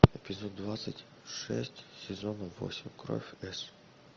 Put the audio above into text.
эпизод двадцать шесть сезона восемь кровь с